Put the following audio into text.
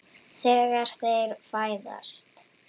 Þegar þeir fæðast